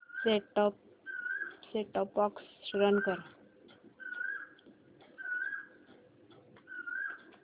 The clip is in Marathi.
सेट टॉप बॉक्स रन कर